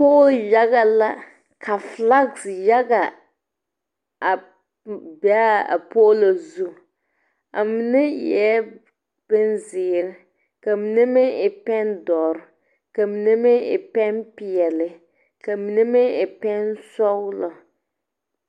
Poɔli yaga la ka flags yaga a be a poɔlo zu a mene eei bunziiri ka mene meng e peng dɔri ka mene meng e peng peɛle kamini meng e peng sɔglo.